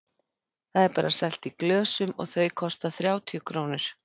Það er bara selt í glösum og þau kosta þrjátíu krónur.